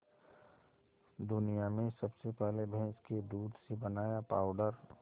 दुनिया में सबसे पहले भैंस के दूध से बनाया पावडर